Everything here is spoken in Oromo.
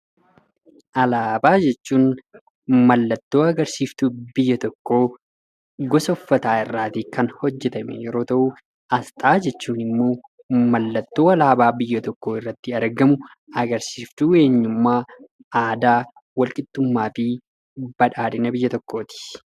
Alaabaa jechuun mallattoo agarsiistuu biyya tokkoo gosa uffataa irraatii kan hojjetame yeroo ta'u, asxaa jechuun immoo mallattoo alaabaa biyya tokkoo irratti argamu agarsiistuu eenyummaa, aadaa, walqixxummaa fi badhaadhina biyya tokkoo ti.